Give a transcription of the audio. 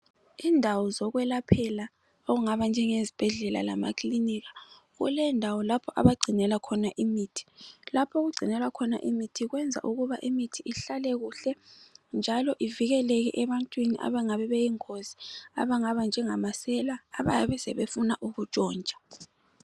Indawo zokulaphela ongaba nje ngezibhedlela lamakiliniki, kule ndawo lapho abagcinila khona imithi. Lapho okugcinelwa khona imithi kuyenza ukuba imithi ihlale kuhle, njalo ivikeleke ebantwini angabe yingozi abanngaba njengamasele, ababe sebefuna ukutshontsha.